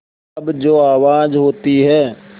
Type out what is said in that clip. तब जो आवाज़ होती है